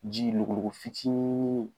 Ji logo logo fitinin